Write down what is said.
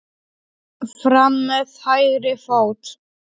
Fram með hægri fót.